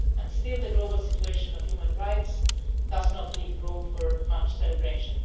Still the global situation of human rights does not leave room for much celebration.